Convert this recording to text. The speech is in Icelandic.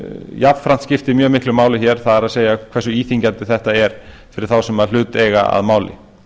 jafnframt skiptir mjög miklu máli það er hversu íþyngjandi þetta er fyrir þá sem hlut eiga að máli